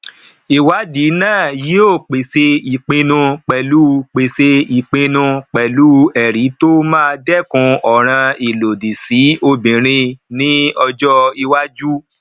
ìwádìí na yí ọ pèsè ìpinnu pelu pèsè ìpinnu pelu ẹri tó má dekun ọràn ìlòdì sì obirin ni ojo iwájú